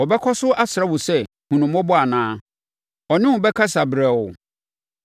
Ɔbɛkɔ so asrɛ wo sɛ hunu no mmɔbɔ anaa? Ɔne wo bɛkasa brɛoo?